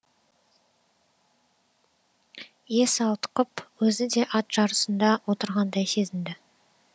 есі ауытқып өзі де ат жарысында отырғандай сезінді